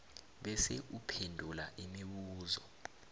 bese uphendula imibuzo